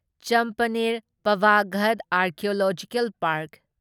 Champaner Pavagadh archaeological park